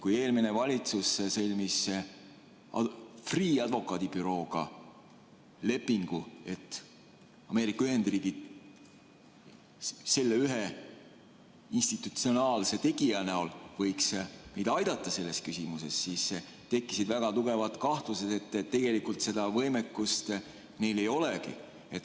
Kui eelmine valitsus sõlmis Freeh' advokaadibürooga lepingu, et Ameerika Ühendriigid võiksid selle ühe institutsionaalse tegija näol meid selles küsimuses aidata, siis tekkisid väga tugevad kahtlused, et tegelikult seda võimekust neil ei olegi.